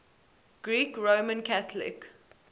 greek roman catholic